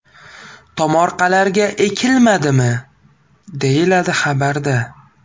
Tomorqalarga ekilmadimi?”, deyiladi xabarda.